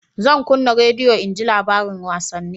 Zan kunna rediyo in ji labarin wasanni